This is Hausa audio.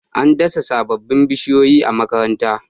an dasa sababbin bishiyoyi a makaranta